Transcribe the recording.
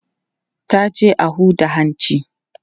ta je a Huda hanci